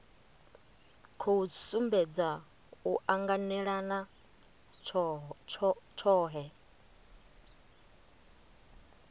khou sumbedza u anganelana tshohe